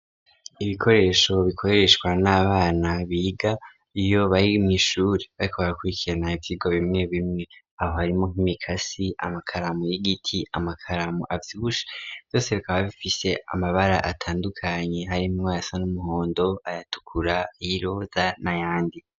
ibikoresho bikoreshwa n'abana biga iyo barimwishuri bariko barakurikirana ivyigwa bimwe bimwe , aho harimwo nk'imikasi , amakaramu y'igiti , amakaramu avyibushe. Vyose bikaba bifise amabar'atandukanye, harimwayasa n'umuhondo , ayatukura , ayiroza n'ayandi.